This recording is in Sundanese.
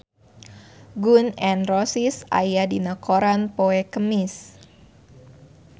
Gun N Roses aya dina koran poe Kemis